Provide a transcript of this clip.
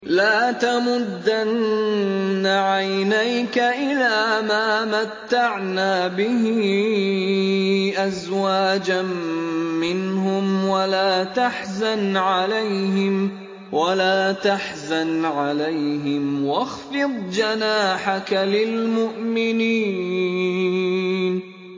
لَا تَمُدَّنَّ عَيْنَيْكَ إِلَىٰ مَا مَتَّعْنَا بِهِ أَزْوَاجًا مِّنْهُمْ وَلَا تَحْزَنْ عَلَيْهِمْ وَاخْفِضْ جَنَاحَكَ لِلْمُؤْمِنِينَ